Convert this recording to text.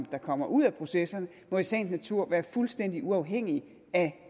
der kommer ud af processerne må i sagens natur være fuldstændig uafhængige af